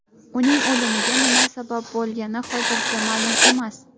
Uning o‘limiga nima sabab bo‘lgani hozircha ma’lum emas.